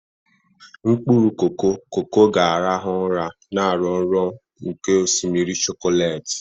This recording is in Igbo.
Mkpụrụ koko koko ga-arahụ ụra, na-arọ nrọ nke osimiri chokolati.